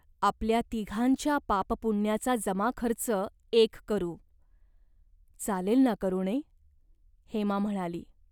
आपल्या तिघांच्या पापपुण्याचा जमाखर्च एक करू. चालेल ना, करुणे ?" हेमा म्हणाली.